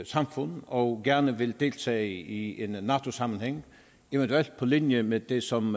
samfund og gerne vil deltage i en nato sammenhæng eventuelt på linje med det som